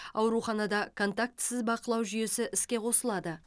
ауруханада контактісіз бақылау жүйесі іске қосылады